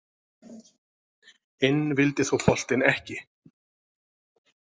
Inn vildi þó boltinn ekki